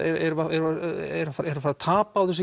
tapa á þessu